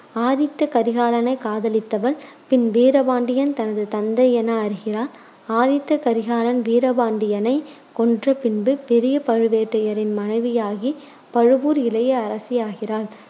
ஆதித்த கரிகாலனை காதலித்தவள், பின் வீரபாண்டியன் தனது தந்தை என அறிகிறாள். ஆதித்த கரிகாலன் வீரபாண்டியனை கொன்ற பின்பு, பெரிய பழுவேட்டரையரின் மனைவியாகி பழுவூர் இளைய அரசியாகிறாள்.